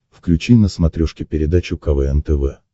включи на смотрешке передачу квн тв